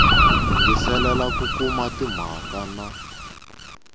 yingiselela ku kuma timhaka na